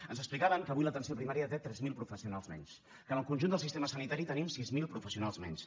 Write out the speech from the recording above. ens explicaven que avui l’atenció primària té tres mil professionals menys que en el conjunt del sistema sanitari tenim sis mil professionals menys